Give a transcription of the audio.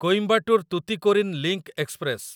Coimbatore Tuticorin link express